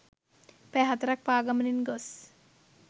පැය 4 ක් පාගමනින් ගොස්